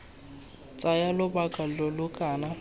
tsaya lobaka lo lo kana